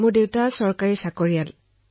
মোৰ দেউতা চৰকাৰী কৰ্মচাৰী